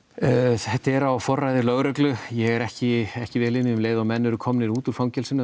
þetta er á forræði lögreglu ég er ekki ekki vel inni í um leið og menn eru komnir út úr fangelsinu